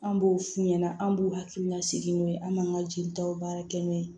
An b'o f'u ɲɛna an b'u hakililasigi n'o ye an m'an ka jelitaw baara kɛ n'o ye